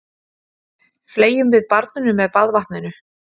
Fleygjum við barninu með baðvatninu?